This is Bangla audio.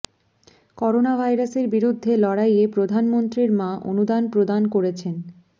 করোনা ভাইরাসের বিরুদ্ধে লড়াইয়ে প্রধানমন্ত্রীর মা অনুদান প্রদান করেছেন